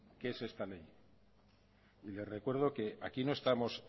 que es esta ley y le recuerdo que aquí no estamos